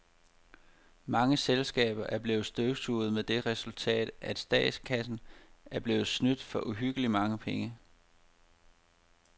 Mange selskaber er blevet støvsuget med det resultat, at statskassen er blevet snydt for uhyggeligt mange penge.